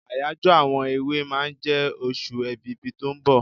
Àyájọ́ àwọn èwe máa jẹ oṣù Èbìbí tó ń bọ̀.